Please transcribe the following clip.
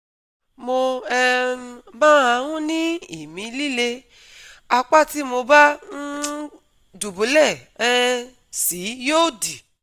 mo um máa ń ní ìmí líle, apá tí mo bá um dùbúlẹ́ um sí yóò dì